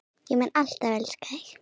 Ég mun alltaf elska þig.